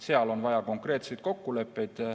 Seal on vaja konkreetseid kokkuleppeid.